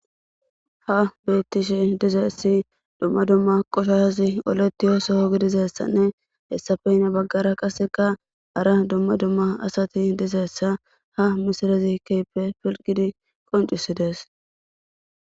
Ha betishe dizayisi duma duma qoshashazi oletiyo soho gidizayisinne hesappe hini bagara qasi duma duma asati dizayisi ha misilezi kehippe pilgidi qonc'ises